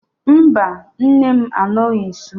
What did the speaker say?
Mba, nne m anọghị nsọ